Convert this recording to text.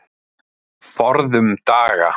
Forðum daga.